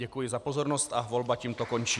Děkuji za pozornost a volba tímto končí.